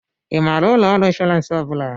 Ị maara ụlọ ọrụ ịnshọransị ọ bụla?